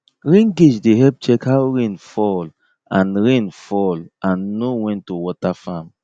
rain gauge dey help check how rain fall and rain fall and know when to water farm